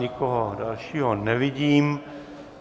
Nikoho dalšího nevidím.